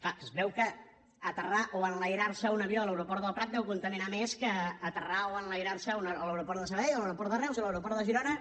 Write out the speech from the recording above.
clar es veu que aterrar o enlairar un avió a l’aeroport del prat deu contaminar més que aterrar o enlairarse a l’aeroport de sabadell o a l’aeroport de reus o a l’aeroport de girona